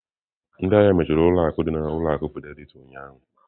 Ndị ahịa mechiri ụlọ akụ dị na ụlọ akụ Fidelity ụnyahụ.